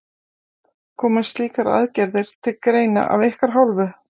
Koma slíkar aðgerðir til greina af ykkar hálfu?